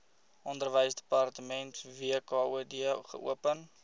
onderwysdepartement wkod geopen